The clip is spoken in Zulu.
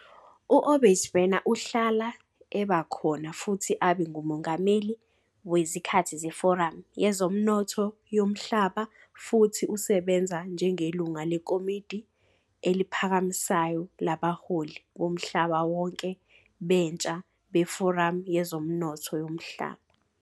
U-Obaigbena uhlala eba khona futhi abe ngumongameli wezikhathi zeForamu Yezomnotho Yomhlaba futhi usebenze njengelungu leKomidi Eliphakamisayo Labaholi Bomhlaba Wonke Bentsha beForamu Yezomnotho Yomhlaba.